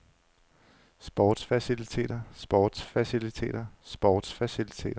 sportsfaciliteter sportsfaciliteter sportsfaciliteter